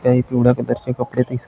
तर हे पिवळ्या कलरचे कपडे दिस --